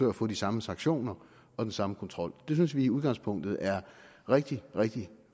at få de samme sanktioner og den samme kontrol det synes vi i udgangspunktet er rigtig rigtig